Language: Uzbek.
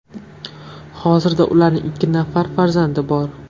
Hozirda ularning ikki nafar farzandi bor.